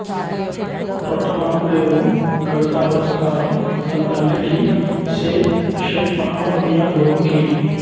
రొట్టమాకురేవు కవితా పురస్కారం తన తండ్రి కీ శే షేక్ మహమ్మద్ మియా గురువు కీ